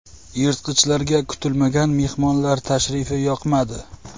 Yirtqichlarga kutilmagan mehmonlar tashrifi yoqmadi.